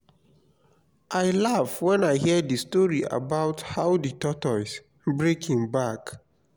i laugh wen i hear the story about how the tortoise break im back